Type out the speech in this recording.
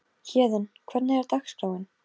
Héðinn, hvernig er dagskráin?